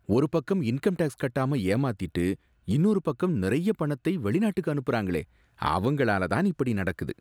ஒருபக்கம் income tax கட்டாம ஏமாத்திட்டு இன்னொரு பக்கம் நிறைய பணத்தை வெளிநாட்டுக்கு அனுப்புறாங்களே அவங்ளால தான் இப்படி நடக்குது